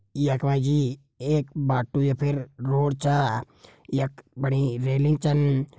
यख मा जी एक बाटु या फिर रोड छ यख बड़ी रेलिंग छन।